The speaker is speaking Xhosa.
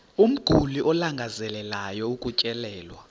umguli alangazelelayo ukutyelelwa